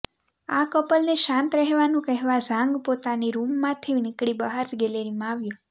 આ કપલને શાંત રહેવાનું કહેવા ઝાંગ પોતાની રૂમમાંથી નીકળી બહાર ગેલેરીમાં આવ્યો